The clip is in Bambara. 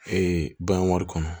bagan wari kɔnɔ